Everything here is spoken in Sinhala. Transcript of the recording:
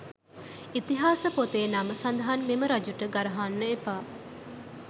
ඉතිහාස පොතේ නම සදහන් මෙම රජුට ගරහන්න එපා.